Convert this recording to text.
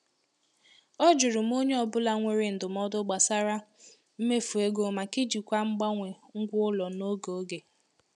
Ọ jụrụ ma onye ọ bụla nwere ndụmọdụ gbasara mmefu ego maka ijikwa mgbanwe ngwa ụlọ n’oge oge.